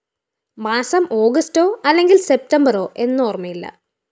മാസം ഓഗസ്‌റ്റോ അല്ലെങ്കില്‍ സെപ്തംബറോ എന്നോര്‍മ്മയില്ല